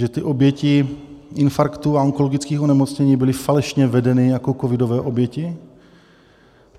Že ty oběti infarktů a onkologických onemocnění byly falešně vedeny jako covidové oběti?